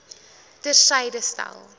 ter syde stel